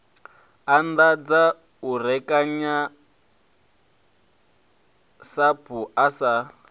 anḓadza u rekanya sapu asi